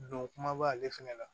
Don kumaba ale fɛnɛ la